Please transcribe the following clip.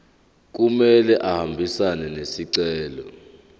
kumele ahambisane nesicelo